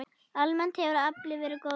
Almennt hefur aflinn verið góður.